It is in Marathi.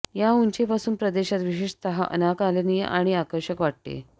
या उंची पासून प्रदेशात विशेषतः अनाकलनीय आणि आकर्षक वाटते